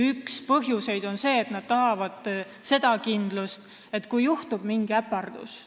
Üks põhjuseid on see, et nad tahavad kindlust, et ei juhtuks mingit äpardust.